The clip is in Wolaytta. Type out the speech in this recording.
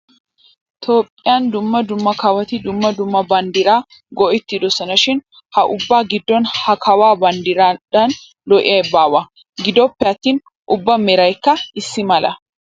Toophphiyaa dumma dumma kawoti dumma dumma banddiraa go'ettidosonashin ha ubba giddon ha kawuwaa banddiraadan lo''iyay baawa. Gidoppe attin ubbaa merayikka issi mala.